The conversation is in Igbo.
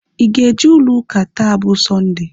Ị ga-eje ụlọ ụka taa bụ Sọnde?